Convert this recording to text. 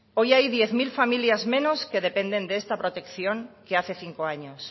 hoy hay diez mil familias menos que dependen de esta protección que hace cinco años